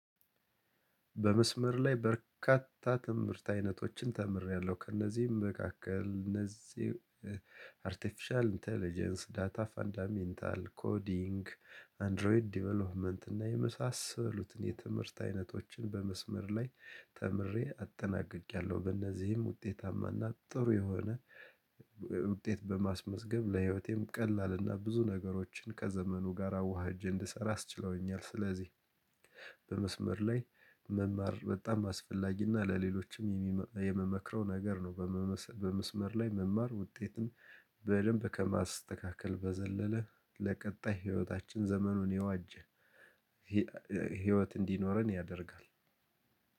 በመስመር ላይ በርካታ ትምህርት አይነቶችን ተምሬያለሁ። ከእነዚህም መካከል እነዚህ አርቴፊሻል ኢንተለጀንስ ዳታ ፋንዳሜንታል ኮዲንግ አንድሮይድ ዴቨሎፕመንት እና የመሳሰሉትን የትምህርት አይነቶችን በመስመር ላይ ተምሬ አጠናቅቄያለሁ። በእነዚህም ውጤታማና ጥሩ የሆነ ውጤት በማስመዝገብ ለህይወቴም ቀላልና ብዙ ነገሮችን ከዘመኑ ጋር አዋህጄ እንድሰራ አስችለውኛል። ስለዚህ በመስመር ላይ መማር በጣም አስፈላጊ እና ለሌሎችም የምመክረው ነገር ነው። በመስመር ላይ መማር ውጤትን በደንብ ከማስተካከል በዘለለ ለቀጣይ ህይወታችን ዘመኑን የዋጀ ህይወት እንዲኖረን ያደርጋል።